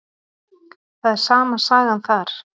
Það er sama sagan þar.